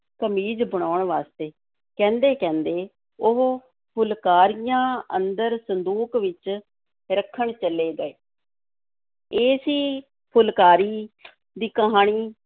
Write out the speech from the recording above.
ਕਮੀਜ਼ ਬਣਾਉਣ ਵਾਸਤੇ, ਕਹਿੰਦੇ ਕਹਿੰਦੇ ਉਹ ਫੁਲਕਾਰੀਆਂ ਅੰਦਰ ਸੰਦੂਕ ਵਿੱਚ ਰੱਖਣ ਚਲੇ ਗਏ ਇਹ ਸੀ ਫੁਲਕਾਰੀ ਦੀ ਕਹਾਣੀ,